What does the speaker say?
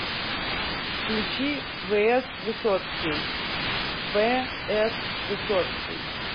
включи вс высоцкий в с высоцкий